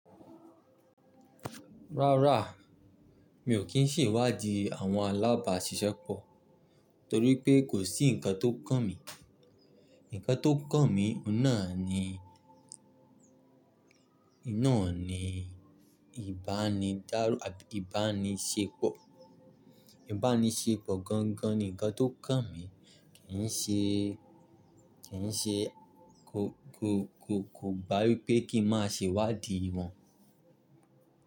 Rárá, mi ò kí n sì wá di àwọn alábàáṣiṣẹ́ pọ̀ torí pé kò sí ǹkan tó kàn mí. Ǹkan tó kàn mí ina ni, iná ni ìbánidárù àbí ìbánisépọ̀. Ìbánisépọ̀ gangan ni ǹkan tó kàn mí kì ń ṣe, kì ń ṣe kò, kò, kò, kò gba wípé kí n máa ṣè wá di wọn.